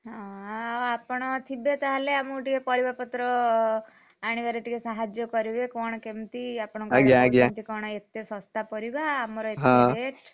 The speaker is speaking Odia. ହଁ ଆଉ ଆପଣ ଥିବେ ତାହେଲେ ଆମକୁ ଟିକେ ପରିବାପତ୍ର, ଆଣିବାରେ ଟିକେ ସାହାଯ୍ୟ କରିବେ କଣ କେମିତି ଆପଣଙ୍କ ଏତେ ଶସ୍ତା ପରିବା ଆଉ ଆମର ଏପଟେ rate ।